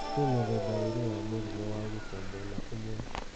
Kwĩ mĩthemba ĩrĩ ya mũrimũ wa gukua mwena ũmwe